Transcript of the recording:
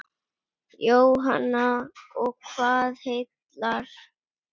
Jóhanna: Og hvað heillar?